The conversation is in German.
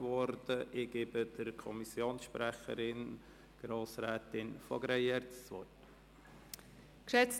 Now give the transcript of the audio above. Ich erteile der Kommissionssprecherin, Grossrätin von Greyerz, das Wort.